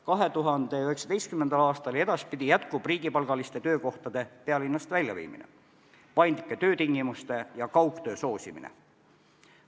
2019. aastal ja edaspidi jätkub riigipalgaliste töökohtade pealinnast väljaviimine, paindlike töötingimuste ja kaugtöö soosimine.